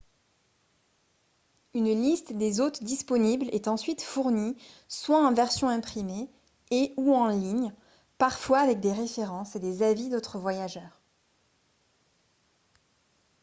une liste des hôtes disponibles est ensuite fournie soit en version imprimée et / ou en ligne parfois avec des références et des avis d'autres voyageurs